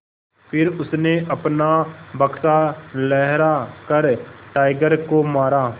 फिर उसने अपना बक्सा लहरा कर टाइगर को मारा